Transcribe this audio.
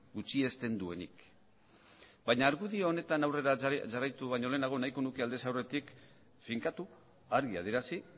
gutxiesten duenik baina argudio honetan aurrera jarraitu baino lehenago nahiko nuke aldez aurretik finkatu argi adierazi